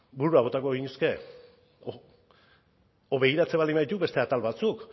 buruak botako genituzke edo begiratzen baldin baditugu beste atal batzuk